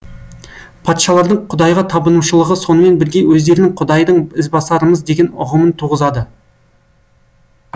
патшалардың құдайға табынушылығы сонымен бірге өздерінің құдайдың ізбасарымыз деген ұғымын туғызады